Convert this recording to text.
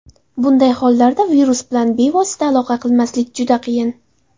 Bunday hollarda virus bilan bevosita aloqa qilmaslik juda qiyin.